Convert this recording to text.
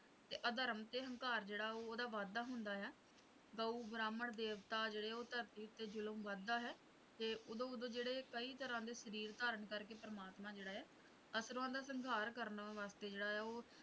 ਤੇ ਅਧਰਮ ਤੇ ਹੰਕਾਰ ਜਿਹੜਾ ਹੈ ਓਹਦਾ ਵਾਧਾ ਹੁੰਦਾ ਹੈ ਗਊ ਬ੍ਰਾਹਮਣ ਦੇਵਤਾ ਜਿਹੜੇ ਉਹ ਧਰਤੀ ਤੇ ਜੁਰਮ ਵਧਦਾ ਹੈ ਤੇ ਉਦੋਂ ਉਦੋਂ ਜਿਹੜਾ ਕਈ ਤਰ੍ਹਾਂ ਦੇ ਸ਼ਰੀਰ ਧਾਰਨ ਕਰ ਕੇ ਪਰਮਾਤਮਾ ਜਿਹੜਾ ਹੈ ਅਸੁਰਾਂ ਦਾ ਸੰਘਾਰ ਕਰਨ ਵਾਸਤੇ ਜਿਹੜਾ ਹੈ ਉਹ